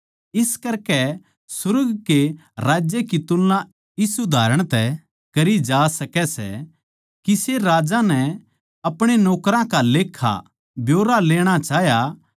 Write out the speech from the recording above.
इस करकै सुर्ग के राज्य की तुलना इस उदाहरण तै करी जा सकै सै किसे राजा नै अपणे नौकरां का लेक्खा ब्यौरा लेणा चाह्या